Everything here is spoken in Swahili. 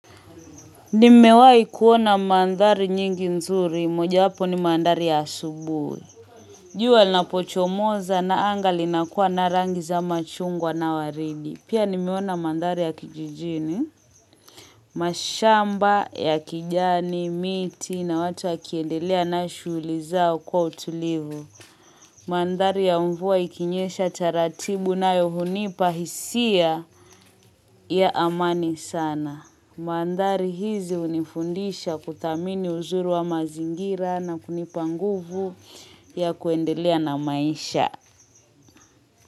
Nimewai kuona mandhari nyingi nzuri, moja wapo ni mandhari ya asubui. Jua linapochomoza na anga linakuwa na rangi za machungwa na waridi. Pia nimeona mandari ya kijijini mashamba ya kijani, miti na watu wakiendelea na shuguli zao kwa utulivu. Mandhari ya mvua ikinyesha taratibu nayo hunipa hisia ya amani sana. Mandari hizi hunifundisha kuthamini uzuri wa mazingira na kunipa nguvu ya kuendelea na maisha.